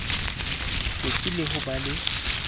setsi le ho ba le